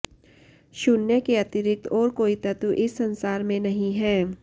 शून्य के अतिरिक्त और कोई तत्व इस संसार में नहीं है